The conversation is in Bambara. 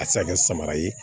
A tɛ se ka kɛ samara ye